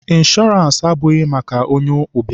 Ịnshọọransị abụghị maka onye ụbịam